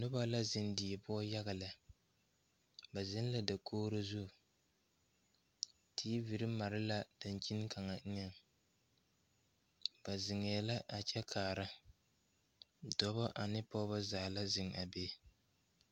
Nobɔ la zeŋ die poɔ yaga lɛ ba zeŋ la dakogro zu teevire mare la dankyini kaŋa eŋɛŋ ba zeŋɛɛ la a kyɛ kaara dɔbɔ ane pɔɔbɔ zaa la zeŋ a be.